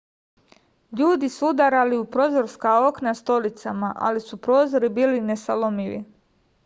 ljudi su udarali u prozorska okna stolicama ali su prozori bili nesalomivi